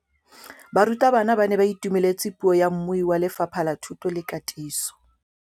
Barutabana ba ne ba itumeletse puô ya mmui wa Lefapha la Thuto le Katiso.